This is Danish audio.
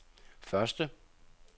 første